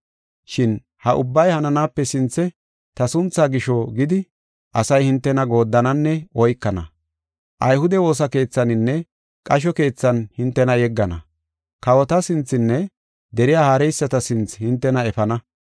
Shin ha ubbay hananaape sinthe ta sunthaa gisho gidi asay hintena gooddananne oykana. Ayhude woosa keethaninne qasho keethan hintena yeggana. Kawota sinthenne deriya haareyisata sinthe hintena efana.